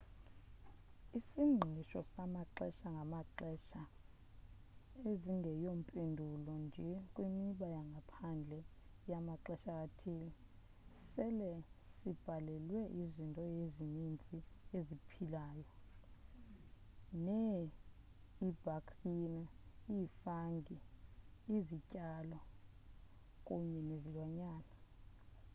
isingqisho samaxesha ngamaxesha ezingeyompendulo nje kwimiba yangaphandle yamaxesha athile sele sibhalelwe izinto ezininzi eziphilayo nee ibhaktiriya ifungi izityalo kunye nezilwanyana